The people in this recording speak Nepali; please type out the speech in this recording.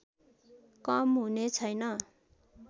कम हुने छैन